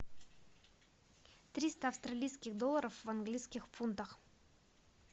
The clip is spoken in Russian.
триста австралийских долларов в английских фунтах